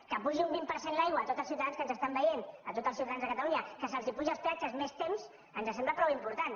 que s’apugi un vint per cent l’aigua a tots els ciutadans que ens estan veient a tots els ciutadans de catalunya que se’ls apugin els peatges més temps ens sembla prou important